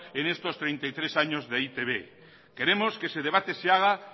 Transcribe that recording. en estos treinta y tres años de e i te be queremos que ese debate se haga